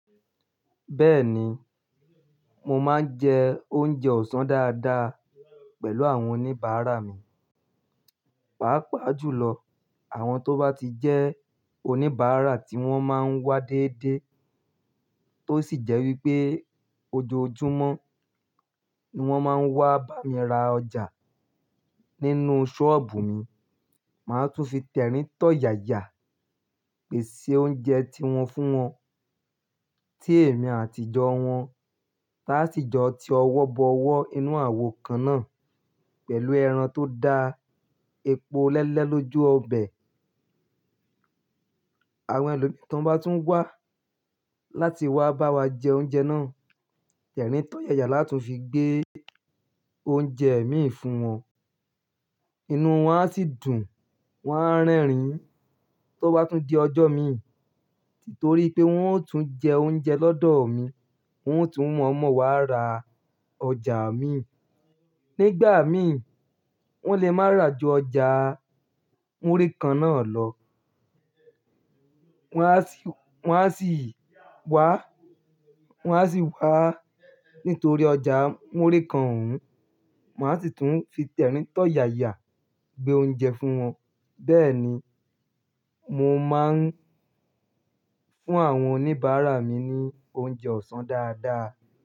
Bẹ́ẹ̀ni, mo máa ń jẹ oúnjẹ ọ̀sán dáadáa pẹ̀lú àwọn oníbàárà mi. Pàápàá jùlọ, àwọn tó bá ti jẹ́ oníbàárà tí wọ́n máa ń wá dedé tó sì jẹ́ wípé ojoojúmọ́ ni wón máa ń wá bá mi ra ọjà nínú sọ́ọ̀bù mi. Màá tún fi tẹ̀rín. Tọ̀ yaya pèsè oúnjẹ tiwọn fún wọn. Ti èmi àti ìjọ wọn bá sì jọ ti ọwọ́ bọ ọwọ́ inú àwo kan náà pẹ̀lú ẹran tó da epo lẹ́lẹ́ lójú ọbẹ̀. Àwọn ẹlomi tan bá tún wá láti wá bá wa jẹ oúnjẹ náà, tẹ̀rín tọ̀ yaya láti tun fi gbé oúnjẹ mi fún wọn. Inú wọn á sì dùn, wọ́n á rẹ́rìn tó bá tún di ọjọ́ mi. Nítorí pé wọ́n ó tún jẹ oúnjẹ lọ́dọ̀ mi, wọ́n ó tún mọ̀ọ́mọ̀ wá ra ọjà mi. Nígbà mì, wọ́n lè má ra ju ọjà múrí kan náà lọ. Wọ́n á sì, wọ́n á sì wá, wọ́n á sì wá. Nítorí ọjà múrí kan òún, mà á sì tún fi tẹ̀rín tọ̀ yaya gbé oúnjẹ fún wọn. Bẹ́ẹ̀ni, mo máa ń fún àwọn oníbàárà mi ní oúnjẹ ọ̀sán dáadáa.